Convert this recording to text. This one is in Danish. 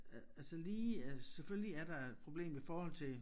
Øh altså lige altså selvfølgelig er der et problem i forhold til